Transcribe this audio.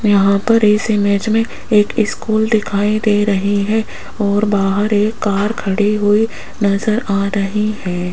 यहां पर इस इमेज में एक स्कूल दिखाई दे रही है और बाहर एक कार खड़ी हुई नजर आ रही है।